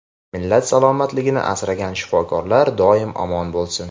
millat salomatligini asragan shifokorlar doim omon bo‘lsin.